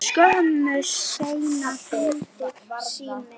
Skömmu seinna hringdi síminn.